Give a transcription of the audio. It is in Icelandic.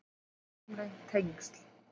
Engin formleg tengsl